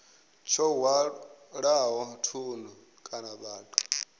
tsho hwalaho thundu kana vhathu